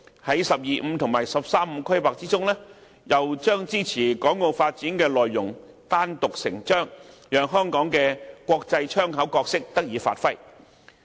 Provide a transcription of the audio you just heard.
在"十二五"和"十三五"規劃中，又把支持港澳發展的內容單獨成章，讓香港的"國際窗口"角色得以發揮。